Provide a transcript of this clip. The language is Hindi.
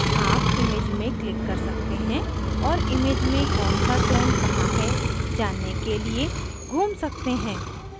आप image में click कर सकते हैं और image में कौन सा tone कहाँ है जानने के लिए घूम सकते हैं